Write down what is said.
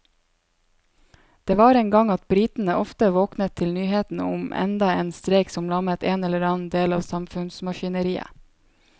Det var en gang at britene ofte våknet til nyhetene om enda en streik som lammet en eller annen del av samfunnsmaskineriet.